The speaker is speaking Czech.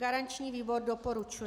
Garanční výbor doporučuje.